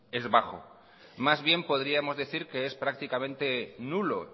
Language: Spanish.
es bajo más bien podríamos decir que es prácticamente nulo